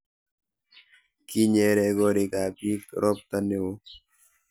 kinyere koriikab biik robta neoo